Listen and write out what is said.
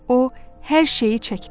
O hər şeyi çəkdi.